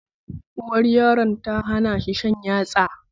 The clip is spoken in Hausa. Uwar yaron tana hanashi shan yatsa